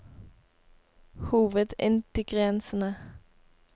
hovedingrediensene